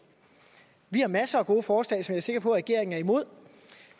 vi har masser af gode forslag som jeg er sikker på at regeringen er imod og